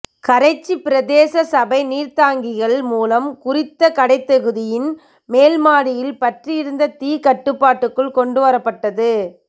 கரைச்சிப் பிரதேச சபை நீர்த்தாங்கிகள் மூலம் குறித்த கடைத் தொகுதியின் மேல் மாடியில் பற்றியிருந்த தீ கட்டுப்பாட்டுக்குள் கொண்டுவரப்பட்டது